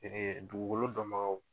dugukolo dɔnbagaw.